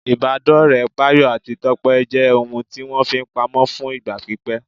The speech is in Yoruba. Ìbádọ́ọ̀rẹ́ Báyọ̀ àti Tọ́pẹ́ jẹ́ ohun tí wọ́n fi pamọ́ fún ìgbà pípẹ́